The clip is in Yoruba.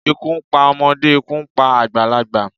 Ikú ń pa ọmọdé, ikú ń pa àgbàlagbà.